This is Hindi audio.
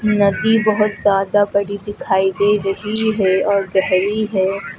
नदी बहुत ज्यादा बड़ी दिखाई दे रही है और गहरी है।